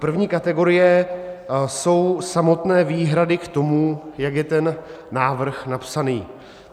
První kategorie jsou samotné výhrady k tomu, jak je ten návrh napsaný.